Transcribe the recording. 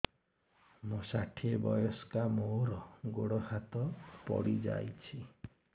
ମୁଁ ଷାଠିଏ ବୟସ୍କା ମୋର ଗୋଡ ହାତ ପଡିଯାଇଛି